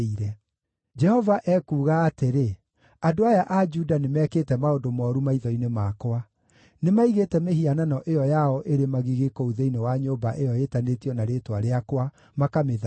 “ ‘Jehova ekuuga atĩrĩ, andũ aya a Juda nĩmekĩte maũndũ mooru maitho-inĩ makwa. Nĩmaigĩte mĩhianano ĩyo yao ĩrĩ magigi kũu thĩinĩ wa nyũmba ĩyo ĩĩtanĩtio na Rĩĩtwa rĩakwa, makamĩthaahia.